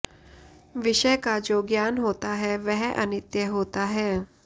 विषय का जो ज्ञान होता है वह अनित्य होता है